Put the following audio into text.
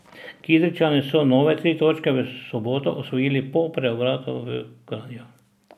Kidričani so nove tri točke v soboto osvojili po preobratu v Kranju.